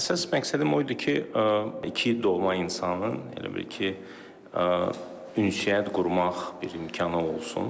Əsas məqsədim o idi ki, iki doğma insanın elə bil ki, ünsiyyət qurmaq bir imkanı olsun.